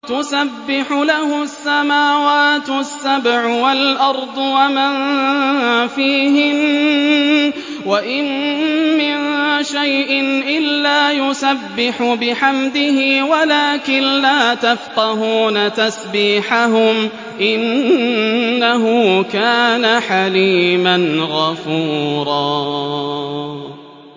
تُسَبِّحُ لَهُ السَّمَاوَاتُ السَّبْعُ وَالْأَرْضُ وَمَن فِيهِنَّ ۚ وَإِن مِّن شَيْءٍ إِلَّا يُسَبِّحُ بِحَمْدِهِ وَلَٰكِن لَّا تَفْقَهُونَ تَسْبِيحَهُمْ ۗ إِنَّهُ كَانَ حَلِيمًا غَفُورًا